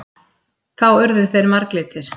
Þá urðu þeir marglitir.